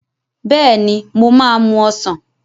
Bẹ́ẹ̀ ni, mo máa mú ọsàn.